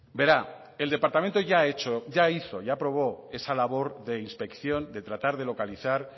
verá el departamento ya ha hizo y ya aprobó esa labor de inspección de tratar de localizar